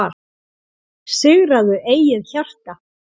Sigraðu eigið hjarta,